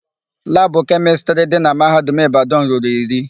Labụ kemịstrị dị na Mahadum Ịbadanụ ruru iri.